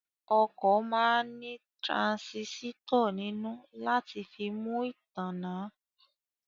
Ọkọ̀ máa ní tiransisitọ nínú láti fi mú ìtààná